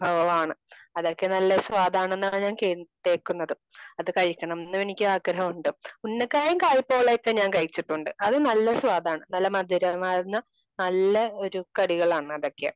വിഭവമാണ്. അതൊക്കെ നല്ല സ്വാദ് ആണെന്നാണ് ഞാൻ കെട്ടേക്കുന്നത്. അത് കഴിക്കണം എന്ന് എനിക്ക് ആഗ്രഹമുണ്ട്. ഉണയക്കായും കായ്പോളയും ഒക്കെ ഞാൻ കഴിച്ചിട്ടുണ്ട്.അത് നല്ല സ്വാദാണ് നല്ല മധുരമാർന്ന നല്ല ഒരു കടികളാണ് അതൊക്കെ